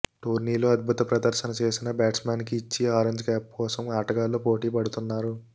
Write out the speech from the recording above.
టోర్నీలో అద్భుత ప్రదర్శన చేసిన బ్యాట్స్ మెన్కి ఇచ్చి ఆరెంజ్ క్యాప్ కోసం ఆటగాళ్లు పోటీ పడుతున్నారు